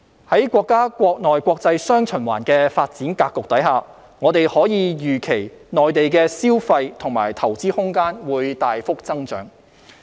在國家國內國際"雙循環"的發展格局下，我們可以預期內地的消費和投資空間會大幅增長。